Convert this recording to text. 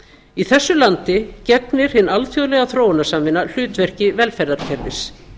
í þessu landi gegnir hin alþjóðlega þróunarsamvinna hlutverki velferðarkerfis